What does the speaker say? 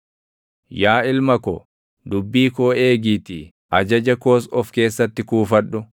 Yaa ilma ko, dubbii koo eegiitii ajaja koos of keessatti kuufadhu.